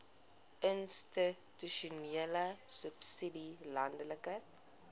institusionele subsidie landelike